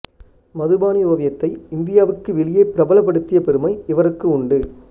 மதுபானி ஓவியத்தை இந்தியாவுக்கு வெளியே பிரபலப்படுத்திய பெருமை இவருக்கு உண்டு